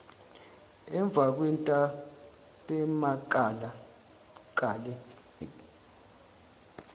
emvakwentabemakale